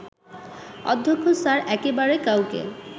অধ্যক্ষ স্যার একেবারে কাউকে